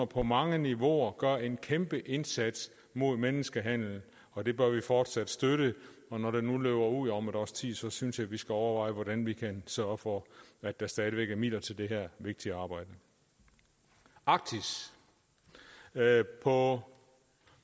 på mange niveauer gør en kæmpe indsats mod menneskehandel og det bør vi fortsat støtte når det nu løber ud om et års tid så synes jeg vi skal overveje hvordan vi kan sørge for at der stadig væk er midler til det her vigtige arbejde arktis på